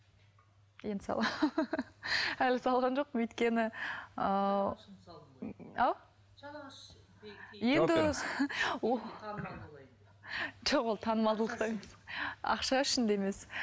енді саламын әлі салған жоқпын өйткені ау енді жоқ ол танымалдылықта емес ақша үшін де емес